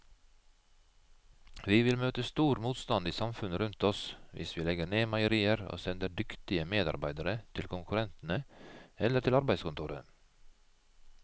Vi vil møte stor motstand i samfunnet rundt oss hvis vi legger ned meierier og sender dyktige medarbeidere til konkurrentene eller til arbeidskontoret.